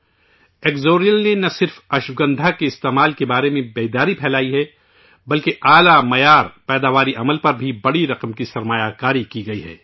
ایکسوریل نے نہ صرف اشوگندھا کے استعمال کے بارے میں بیداری پیدا کی ہے بلکہ اعلیٰ معیار کی پیداوار کے عمل پر بھی بڑی رقم کی سرمایہ کاری کی ہے